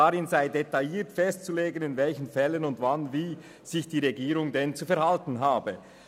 Darin sei detailliert festzulegen, in welchen Fällen wann und wie sich die Regierung zu verhalten habe.